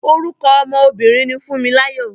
Orúkọ ọmọ obìnrin ni Fúnmiláyọ̀.